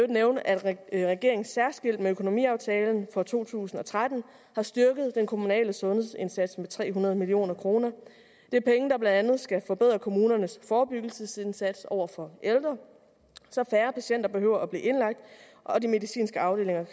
nævne at regeringen særskilt med økonomiaftalen for to tusind og tretten har styrket den kommunale sundhedsindsats med tre hundrede million kroner det er penge der blandt andet skal at forbedre kommunernes forebyggelsesindsats over for ældre så færre patienter behøver blive indlagt og de medicinske afdelinger